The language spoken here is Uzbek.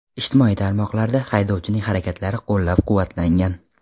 Ijtimoiy tarmoqlarda haydovchining harakatlari qo‘llab-quvvatlangan.